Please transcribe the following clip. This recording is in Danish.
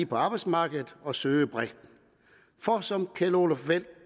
på arbejdsmarkedet og søge bredt for som kjell olof feldt